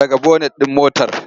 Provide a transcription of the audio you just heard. Ɗaga bonet ɗin motar!